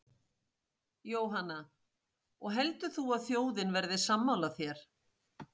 Jóhanna: Og heldur þú að þjóðin verði sammála þér?